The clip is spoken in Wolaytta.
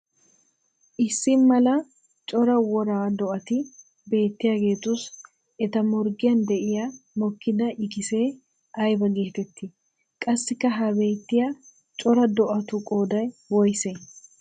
Issi mala cora woraa do'atti beetiyagetussi etta morggiyan de'iyaa mokkida ikkissee aybaa geetetti? Qassikka ha beetiyaa coraa do'attu qooday woysee?